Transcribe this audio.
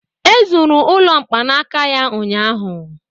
E zuru ụlọ mkpanaka ya ụnyahụ